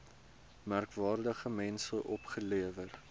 merkwaardige mense opgelewer